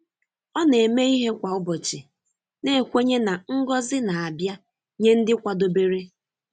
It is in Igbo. Ọ na-eme ihe kwa ụbọchị, na-ekwenye na ngọzi na-abịa nye ndị kwadobere.